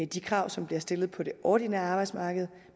de krav som bliver stillet på det ordinære arbejdsmarked